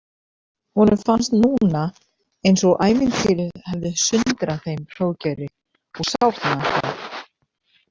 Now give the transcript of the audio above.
Honum fannst núna eins og ævintýrið hefði sundrað þeim Hróðgeiri og sárnaði það.